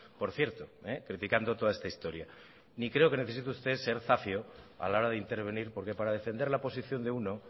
por cierto criticando toda esta historia ni creo que necesite usted ser zafio a la hora de intervenir porque para defender la posición de uno